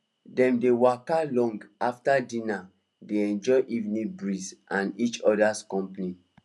dem dey waka long after dinner dey enjoy evening breeze and each other company